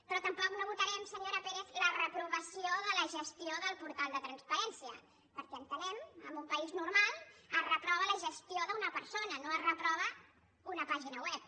però tampoc no votarem senyora pérez la reprovació de la gestió del portal de transparència perquè entenem que en un país normal es reprova la gestió d’una persona no es reprova una pàgina web